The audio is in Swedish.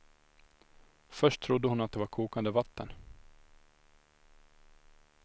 Först trodde hon att det var kokande vatten.